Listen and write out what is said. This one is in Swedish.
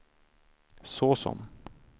såsom